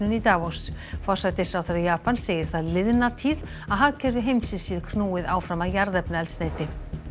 í Davos forsætisráðherra Japans segir það liðna tíð að hagkerfi heimsins sé knúið áfram af jarðefnaeldsneyti